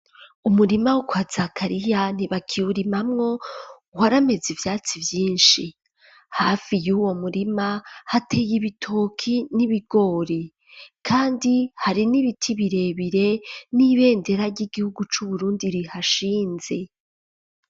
Umurima wo kwa Zakariya ntibakiwurimamwo warameze ivyatsi vyishi hafi yuwo murima hateye ibitoki n'ibigori kandi hari n'ibiti birebire n'ibendera ry'igihugu cu Burundi rihashinze.